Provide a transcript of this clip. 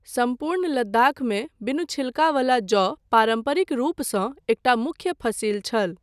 सम्पूर्ण लद्दाखमे बिनु छिलकावला जौ पारम्परिक रूपसँ एकटा मुख्य फसिल छल।